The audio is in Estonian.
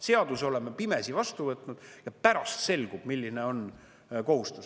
Seaduse oleme pimesi vastu võtnud ja pärast selgub, milline on kohustus.